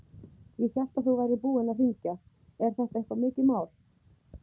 Ég hélt að þú værir búinn að hringja. er þetta eitthvað mikið mál?